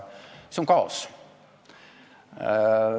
See on kaos!